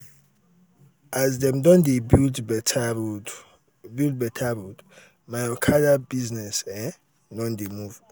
um as dem don build beta road build beta road my okada um business um don dey move.